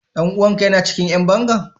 Dan uwan ka yana cikin mazan yan bangan?